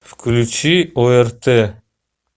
включи орт